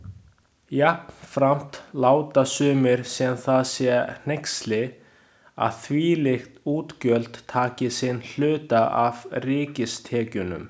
Jafnframt láta sumir sem það sé hneyksli, að þvílík útgjöld taki sinn hluta af ríkistekjunum.